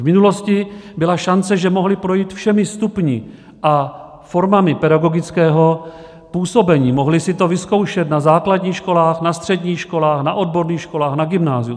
V minulosti byla šance, že mohli projít všemi stupni a formami pedagogického působení, mohli si to vyzkoušet na základních školách, na středních školách, na odborných školách, na gymnáziu.